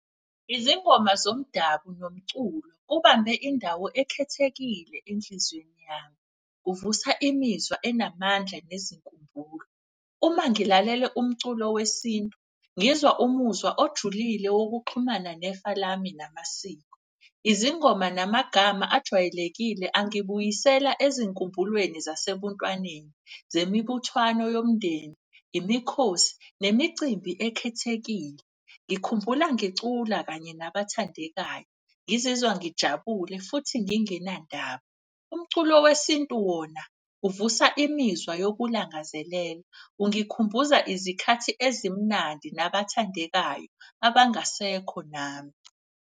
Izingoma zomdabu nomculo kubambe indawo ekhethekile enhliziyweni yami, kuvusa imizwa enamandla nezinkumbulo. Uma ngilalele umculo wesintu ngizwa umuzwa ojulile wokuxhumana nefa lami namasiko. Izingoma namagama ajwayelekile angibuyisela ezinkumbulweni zasebuntwaneni, zemibuthwano yomndeni, imikhosi, nemicimbi ekhethekile. Ngikhumbula ngicula kanye nabathandekayo ngizizwa ngijabule futhi ngingenandaba. Umculo wesintu wona uvusa imizwa yokulangazelela, ungikhumbuza izikhathi ezimnandi, nabathandekayo abangasekho nami.